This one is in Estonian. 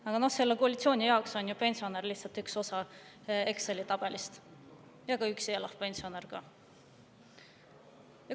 Aga selle koalitsiooni jaoks on pensionär, ka üksi elav pensionär lihtsalt üks osa Exceli tabelist.